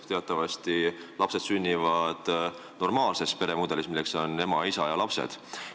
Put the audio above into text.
Teatavasti lapsed sünnivad normaalses peres, milleks on ema ja isa ja lapsed.